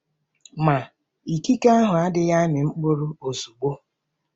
Ma, ikike ahụ adịghị amị mkpụrụ ozugbo.